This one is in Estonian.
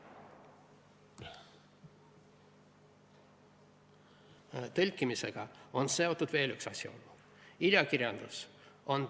Tõlkimisega on seotud veel üks asjaolu.